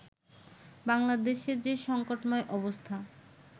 বাংলাদেশে যে সংকটময় অবস্থা